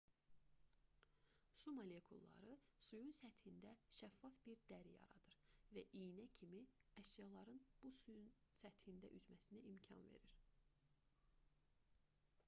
su molekulları suyun səthində şəffaf bir dəri yaradır və iynə kimi əşyaların bu suyun səthində üzməsinə imkan verir